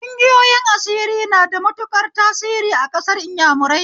Ƙungiyoyin asiri na da matuƙar tasiri a ƙasar inyamurai